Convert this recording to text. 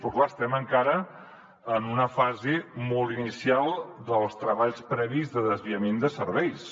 però clar estem encara en una fase molt inicial dels treballs previs de desviament de serveis